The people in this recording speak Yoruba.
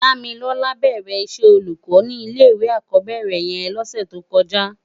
Damilola bèrè iṣè ólúkò ni ilé iwé ákòbèrè yèn lòsè tókòjá